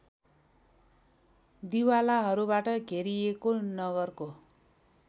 दिवालाहरूबाट घेरिएको नगरको